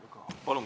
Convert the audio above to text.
Palun!